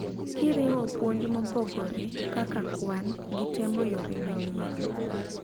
kiriwo puonj mopogore (kak kwan ) gi temo yore manyien